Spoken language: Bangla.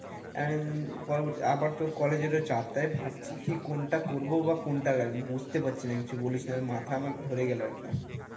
আহ আবার তোর college এর ও চাপ তাই ভাবছি কি কোনটা করবো বা কোনটা রাখবো বুঝতে পারছি না কিছু বলিস না, মাথা আমার ধরে গেলো একদম।